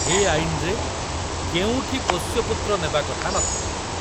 ଏ ଆଇନରେ କେଉଁଠି ପୋଷ୍ୟପୁତ୍ର ନେବା କଥା ନ ଥିଲା।